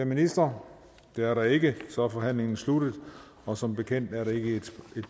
ministre det er der ikke så er forhandlingen sluttet og som bekendt er det ikke et